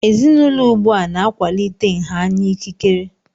Ezinaụlọ ugbu a na-akwalite nha anya ikikere.